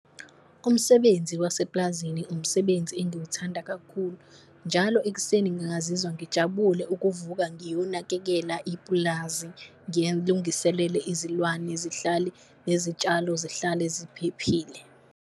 Umsebenzi waseplazini umsebenzi engiwuthanda kakhulu, njalo ekuseni ngingazizwa ngijabule ukuvuka ngiyonakekela ipulazi ngilungiselele izilwane zihlale, nezitshalo zihlale ziphephile.